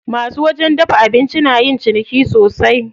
Masu wajen dafa abinci na yin ciniki sosai.